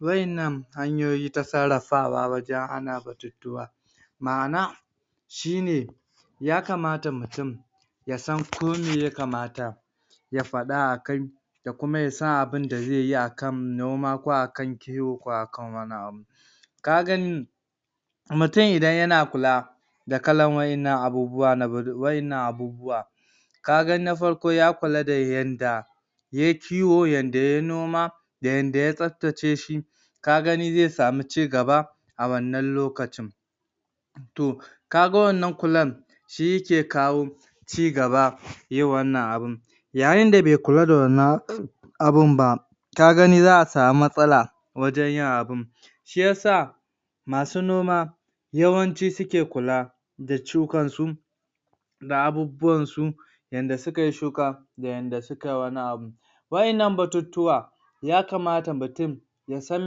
Wa'yannan hanyoyi ta sarafawa wajen hana batutuwa, ma'ana shine ya kamata mutum ya san ko me ya kamata ya faɗa akan da kuma ya sanabunda zai yi akan noma, ko akan kiwo ko akan wani abu. Ka gani mutum idan yana kula da kalan waɗannan abubuwa na waɗannan abubuwa ka gan na farko, ya kula da yadda yai kiwo, yadda yai noma, da yadda ta tsabtace shi, ka gani zai sami ci gaba a wannan lokacin. To, kaga wannan kular shi yake kawo cigaba yin wannan abun Yayin da bai kula da wannan abunba, ka gani za'a sami matsala wajen yin abun, shi ya sa, ma su noma yawanci suke kula da shukarsu, da abubuwan su, yadda sukai shuka da yadda sukai wani abu. Wa'yanan batutuwa ya kamata mutum ya san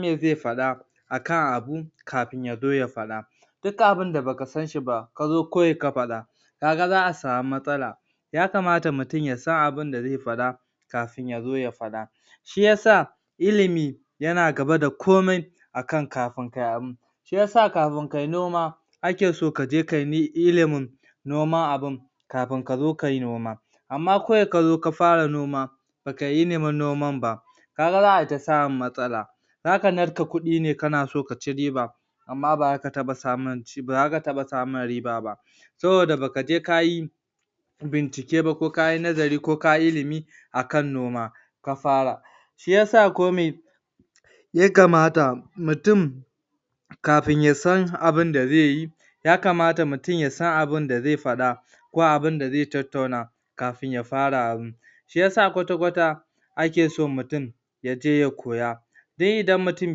me zai faɗa akan abu kafin ya zo ya faɗa. Duk abunda baka sanshi ba ka zo kawai ka faɗa, kaga za'a sami matsala ya kamata mutum ya san abunda zai faɗa, kafin ya zo ya faɗa. Shi yasa, ilimi yana gaba da komai, akan kafin kai abu. Shi yasa kafin kai noma, ake so kaje kai ilimin noman abun kafin kazo kayi noma. Amma kawai kazo ka fara noma ba kayi ilimin noman ba, kaga za'a ai ta smun matsala. Za ka narka kuɗi ne kana so ka ci riba amma ba za ka taɓa samun ba za ka taɓa samun riba ba, saboda baka je ka yi bicike ba, ko kayi nazari ko kayi ilimi, akan noma, ka fara, shi yasa kome ya kamata mutum, kafin ya san abunda zai yi ya kamata mutum ya san abunda zai faɗa, ko abunda zai tattauna kafin ya fara abun shi ya sa kwata-kwata ake so mutum ya je ya koya, don idan mutum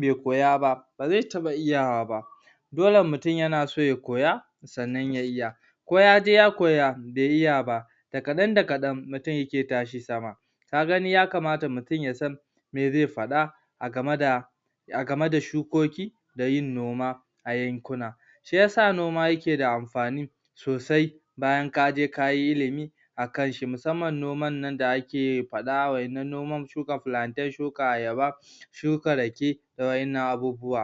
bai koya ba ba zai taɓa iyawa ba. Dole mutun yana so ya koya, sannan ya iya. Ko ya je ya koya, bai iya ba da kaɗan-da-kaɗan, zai ikai tashi sama. Ka gani ya kamata mutum ya san me zai faɗa, a game da a game da shukoki, da yin noma, a yankuna. Shi ya sa noma yake da amfani, sosai, bayan kaje ka yi ilimi akan shi, musamman noman nan da ake faɗawa, kamar noman shuka plantain, shukla ayaba, shuka rake, da wa'yanan abubuwan.